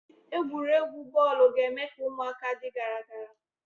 Egwuregwu bọọlụ ga- eme ka ụmụaka dị gara gara.